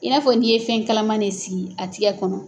I n'a fɔ n'i ye fɛn kalaman ne sigi a tigɛ kɔnɔ.